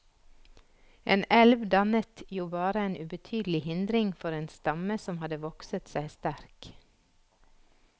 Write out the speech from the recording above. En elv dannet jo bare en ubetydelig hindring for en stamme som hadde vokset seg sterk.